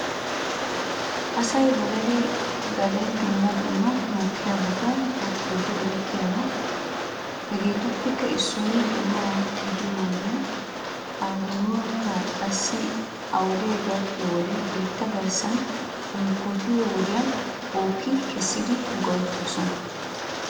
Asay ba gaden gaden dumma dumma mokkiyaabata tokiyooge eretiyaaba. Hegeetuppekka issoy donuwaa gidiyoo wodiyan he donuwaaka qassi a wodee gakkiyoode biitta garssan unkkotiyoo wodiyan booki kessidi go'etoosona.